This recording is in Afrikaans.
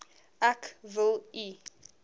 ek wil u